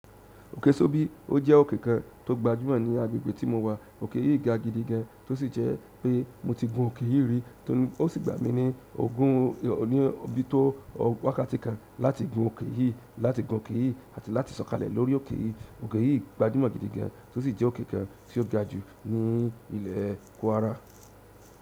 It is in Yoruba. Òkè Sóbi jẹ́ òkè kan tó gba jù ní agbègbè tí mo wà oke yìí ga gidi gan tosije wípé mo ti gun oke yìí ri o si gba mi ni ogun oti tó wákàtí kan láti gun òkè yìí, àti láti sọ̀kalẹ̀ lórí òkè yìí. Òkè yìí gba jù mó gidigan tó sì jẹ́ òkè kan tí ó ga jù ní ilẹ̀ Kwara.